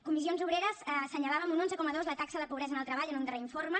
comissions obreres assenyalava en un onze coma dos la taxa de pobresa en el treball en un darrer informe